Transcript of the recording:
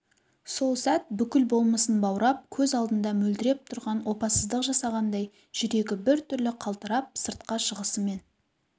сол сәт бүкіл болмысын баурап көз алдында мөлдіреп тұрған опасыздық жасағандай жүрегі бір түрлі қалтырап сыртқа шығысымен